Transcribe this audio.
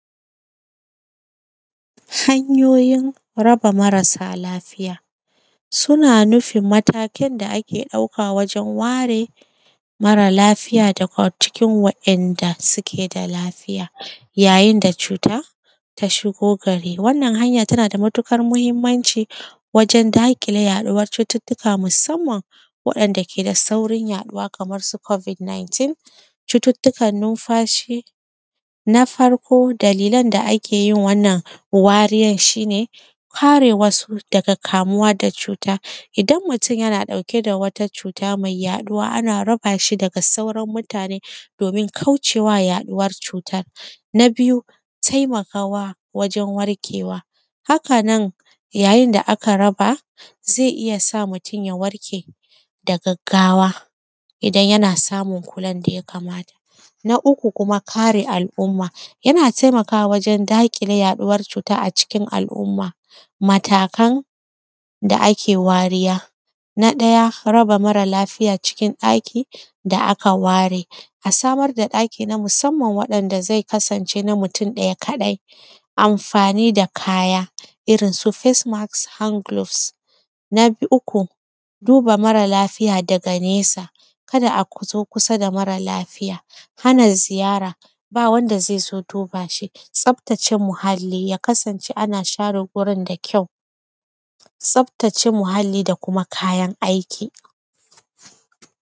Hanyoyin raba marasa lafiya. Suna nufin mataken da ake ɗauka wajen ware mara lafiya daga cikin waɗanda suke da lafiya yayin da cuta ta shigo gari. Wannan hanya tana da matuƙar mahimmanci wajen daƙile yaɗuwar cututtuka musamman waɗanda ke da saurin yaɗuwa kamar su “covid 19”, cututtukan numfashi. Na farko, dalilan da ake yin wannan wariyar shi ne, kare wasu daga kamuwa da cuta. Idan mutun yana ɗauke da wata cuta mai yaɗuwa, ana raba shi da sauran mutane domin kauce wa yaɗuwar cutar. Na biyu, temakawa wajen warkewa, haka nan, yayin da aka raba, ze iya sa mutun ya warke da gaggawa idan yana samun kulan da ya kamata. Na uku kuma, kare al’uma, yana temakawa wajen daƙile yaɗuwar cuta a cikin al’uma. Matakan da ake wariya, na ɗaya, raba mara lafiya ciki ɗaki da aka ware, a samad da ɗaki na musamman waɗanda ze kasance na mutun ɗaya kaɗai. Amfani da kaya, irin su “face mask”, hand globes. Na b; uku, duba mara lafiya daga nesa, kada a matso kusa da mara lafiya, hana ziyara, ba wanda ze zo duba shi. Tsaftace muhalli, ya kasance ana share gurin da kyau, tsaftace muhalli da kuma kayan aiki.